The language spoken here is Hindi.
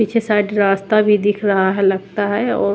पीछे साइड रास्ता भी दिख रहा है लगता है और--